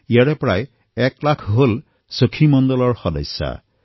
ইয়াত প্ৰায় ১ লাখ সখী মণ্ডলো অন্তৰ্ভুক্ত আছে